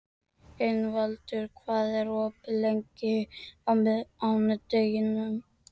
Ingvaldur, hvað er opið lengi á mánudaginn?